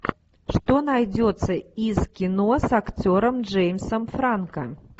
что найдется из кино с актером джеймсом франко